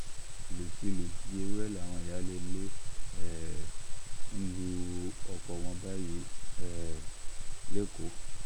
ìlúkulù bíi ewúrẹ́ làwọn ìyáálé ilé um ń lu ọkọ̀ wọn báyìí um lẹ́kọ̀ọ́